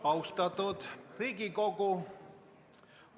Austatud Riigikogu!